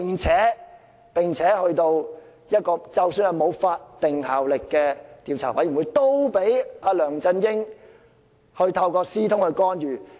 即使只啟動沒有法定效力的專責委員會，梁振英也透過私通來干預。